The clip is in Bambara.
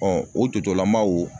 o totolama o